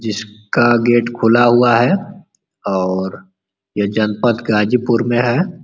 जिसका गेट खुला हुआ है और ये जनपत गाज़िपुर में है।